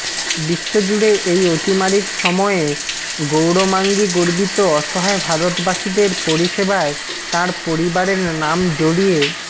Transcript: বিশ্বজুড়ে এই অতিমারির সময়ে গৌরমাঙ্গি গর্বিত অসহায় ভারতবাসীদের পরিষেবায় তাঁর পরিবারের নাম জড়িয়ে